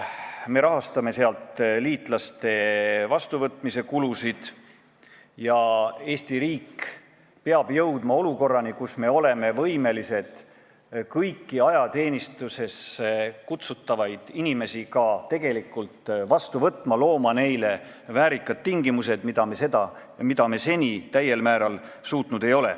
Me rahastame liitlaste vastuvõtmise kulusid ja Eesti riik peab jõudma olukorrani, kus me oleme võimelised kõiki inimesi, kes tuleks ajateenistusse kutsuda, ka tegelikult vastu võtma, looma neile normaalsed tingimused, mida me seni täiel määral suutnud ei ole.